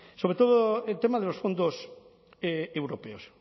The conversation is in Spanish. sobre todo el tema de los fondos europeos